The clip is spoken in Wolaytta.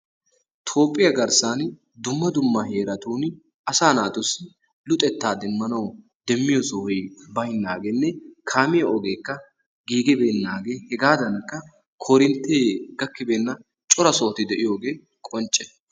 Toophphiya garssan dumma dumma heeratun asaa naatussi luxetta demmanawu demmiyo sohoy baynaageenne kaamiya ogeekka giiggibeenaagee hegaadankka koorinttee gakkibeena cora sohoti de'iyogee qoncce.